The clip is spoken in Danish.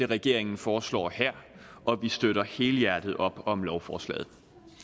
regeringen foreslår her og vi støtter helhjertet op om lovforslaget